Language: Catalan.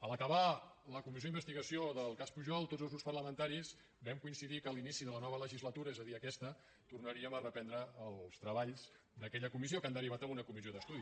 al acabar la comissió d’investigació del cas pujol tots els grups parlamentaris vam coincidir que a l’inici de la nova legislatura és a dir aquesta tornaríem a reprendre els treballs d’aquella comissió que han derivat en una comissió d’estudi